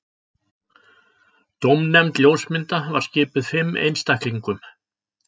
Dómnefnd ljósmynda var skipuð fimm einstaklingum